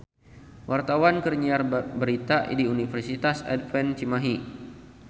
Wartawan keur nyiar berita di Universitas Advent Cimahi